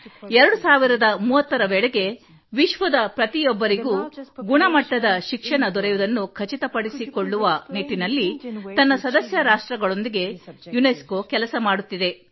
2030 ರ ವೇಳೆಗೆ ವಿಶ್ವದ ಪ್ರತಿಯೊಬ್ಬರಿಗೂ ಗುಣಮಟ್ಟದ ಶಿಕ್ಷಣ ದೊರೆಯುವುದನ್ನು ಖಚಿತಪಡಿಸಿಕೊಳ್ಳುವ ನಿಟ್ಟಿನಲ್ಲಿ ತನ್ನ ಸದಸ್ಯ ರಾಷ್ಟ್ರಗಳೊಂದಿಗೆ ಯುನೆಸ್ಕೊ ಕೆಲಸ ಮಾಡುತ್ತಿದೆ